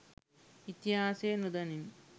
ඉතිහාසය නොදනිමු.